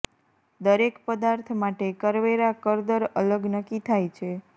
દરેક પદાર્થ માટે કરવેરા કર દર અલગ નક્કી થાય છે